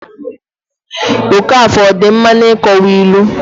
okafor ọ dị mma n'ịkowa ilu?